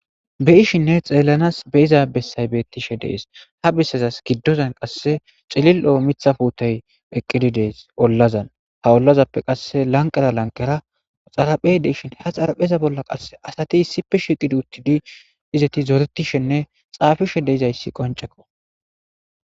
beyishinne xeellanas be'iza bessay beettishe dees ha bessazas giddozan qasse cilil'o miithha fuutey eqqidi dees ollazan ha ollazappe qasse lanqada lanqera xaraphey deishshin ha xarapheza bolla qasse asati issippe shiqidi uttidi izeti zoretishenne xaafishe deizayssi qoncekko